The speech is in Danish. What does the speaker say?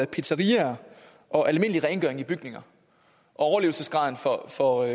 pizzeriaer og almindelig rengøring i bygninger og overlevelsesgraden for for